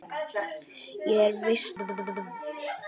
Ég er veisluborðið.